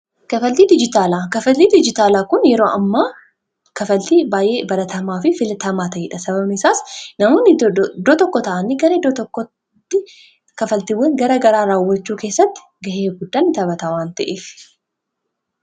kafaltii dijitaala kafaltii dijitaalaa kun yeroo amma kafaltii baay'ee balatamaa fi filatamaa tayidha sabamesaas namoon doo tokko ta'ani gara kafaltiiwwan gara garaa raawwachuu keessatti ga'ee guddan taphatawan ta'ef